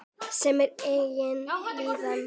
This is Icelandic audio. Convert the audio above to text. Sem og eigin líðan.